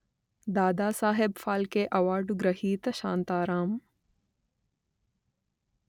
Dadasaheb Phalke award గ్రహీత శాంతారాం